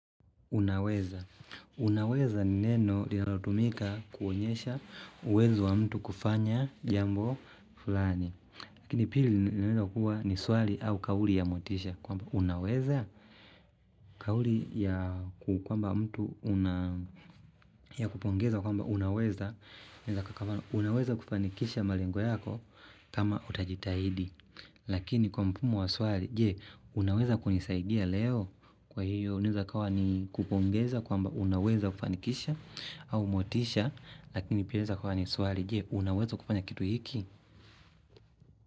Unaweza. Unaweza ni neno linalotumika kuonyesha uwezo wa mtu kufanya jambo fulani. Lakini pili ni neno kuwa ni swali au kauli ya motisha kwamba unaweza. Kauli ya kukwamba mtu ya kupongeza kwamba unaweza. Unaweza kufanikisha malengo yako kama utajitahidi. Unaweza kunisaidia leo, kwa hio unaeza kawa ni kupongeza kwamba unaweza kufanikisha au motisha lakini poia unaeza kuwa ni swali je unaweza kufanya kitu hiki.